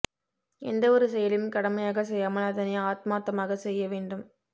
எந்தஒரு செயலையும் கடமையாக செய்யாமல் அதனை ஆத்மாத்தமாக செய்ய வேண்டும்